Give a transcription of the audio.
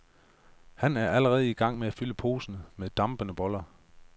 Han er allerede i gang med at fylde posen med dampende boller.